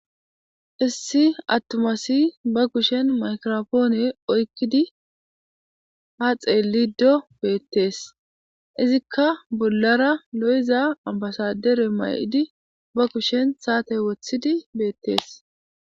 issi attuma asi ba kushen maykirapone oykkidi ha xeelido beettees izikka bollara lo'iza ambasadere mayidi ba kushen saatey wothidi beettees